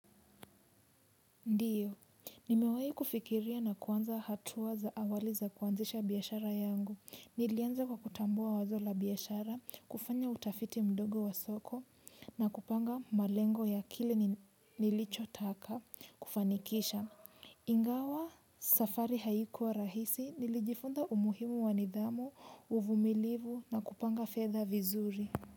Ndiyo. Nimewahi kufikiria na kuanza hatuwa za awali za kuanzisha biashara yangu. Nilianza kwa kutambua wazola biashara, kufanya utafiti mdogo wa soko na kupanga malengo ya kile nilicho taka kufanikisha. Ingawa safari haikuwa rahisi nilijifunza umuhimu wanidhamu, uvumilivu na kupanga fetha vizuri.